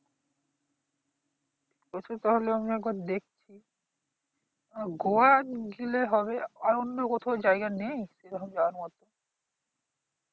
সে তো তাহলে আমি একবার দেখছি গোয়া গেলে হবে আর অন্য কোথাও জায়গা নেই সেরকম যাওয়ার মত